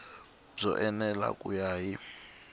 byo enela ku ya hi